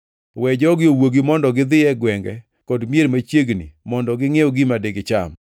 We jogi owuogi mondo gidhi e gwenge kod mier machiegni mondo gingʼiew gima digicham.”